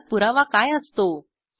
ओळख पुरावा काय असतो